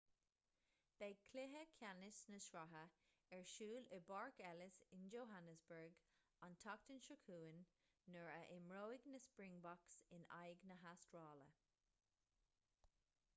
beidh cluiche ceannais na sraithe ar siúl i bpáirc ellis in johannesburg an tseachtain seo chugainn nuair a imreoidh na springboks in aghaidh na hastráile